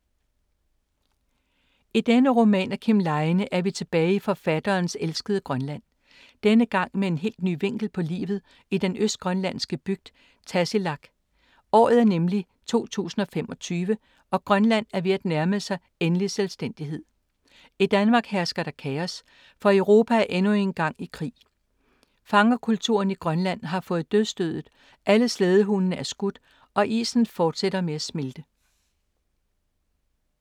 I denne roman af Kim Leine er vi tilbage i forfatterens elskede Grønland. Denne gang med en helt ny vinkel på livet i den østgrønlandske bygd Tassilaq. Året er nemlig 2025, og Grønland er ved at nærme sig endelig selvstændighed. I Danmark hersker der kaos, for Europa er endnu engang i krig. Fangerkulturen i Grønland har fået dødsstødet, alle slædehundene er skudt og isen fortsætter med at smelte.